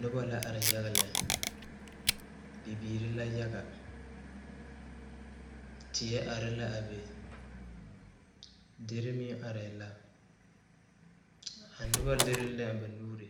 Nobɔ la are yaga lɛ bibiire la yaga teɛ are la a be derre meŋ arɛɛ la a nobɔ lire la ba nuure